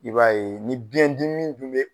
I b'a ye ni biyɛn dimi dun be